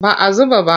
Ba a zuba ba.